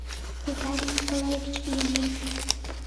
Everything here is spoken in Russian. виталий николаевич ильин